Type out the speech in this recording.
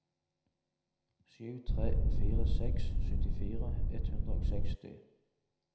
sju tre fire seks syttifire ett hundre og seksti